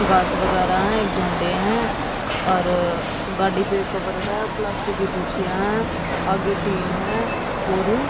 घास वगैरह हैं एक झंडे हैं और गाड़ी पे कवर है प्लास्टिक की कुर्सियां हैं आगे टीन है और--